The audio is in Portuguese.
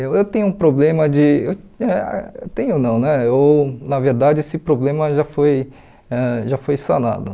Eu eu tenho um problema de eu eh... Tenho não né, eu na verdade esse problema já foi ãh já foi sanado.